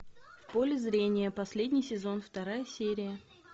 в поле зрения последний сезон вторая серия